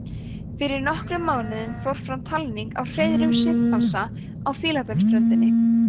fyrir nokkrum mánuðum fór fram talning á hreiðrum simpansa á fílabeinsströndinni